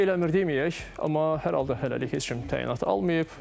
Ürək eləmir deməyək, amma hər halda hələlik heç kim təyinatı almayıb.